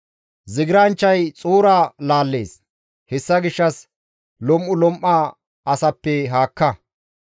Zigiranchchay xuura laallees; hessa gishshas lom7ulom7a asappe haakka.